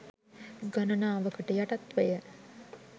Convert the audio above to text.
ගණනාවකට යටත්වය.